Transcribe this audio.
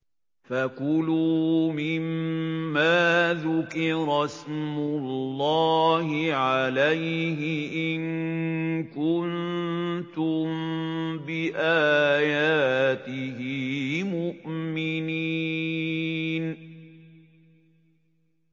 فَكُلُوا مِمَّا ذُكِرَ اسْمُ اللَّهِ عَلَيْهِ إِن كُنتُم بِآيَاتِهِ مُؤْمِنِينَ